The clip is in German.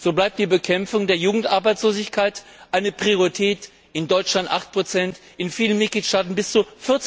So bleibt die Bekämpfung der Jugendarbeitslosigkeit eine Priorität in Deutschland 8 in vielen Mitgliedstaaten bis zu